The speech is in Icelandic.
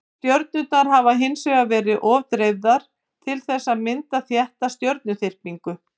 stjörnurnar hafa hins vegar verið of dreifðar til þess að mynda þétta stjörnuþyrpingu